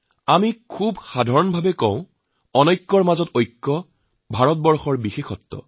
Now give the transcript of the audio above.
আমি প্ৰায়েই কওঁ বৈচিত্ৰতাৰ মাজত ঐক্যই হৈছে ভাৰতৰ বিশেষত্ব